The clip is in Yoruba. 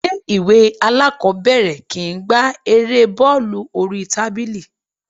Ilé ìwé aláàkọ́bẹ̀rẹ̀ kìí gbá Erée bọ́ọ́lù oríi tábìlì.